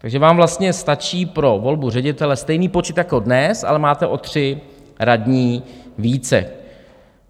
Takže vám vlastně stačí pro volbu ředitele stejný počet jako dnes, ale máte o 3 radní více.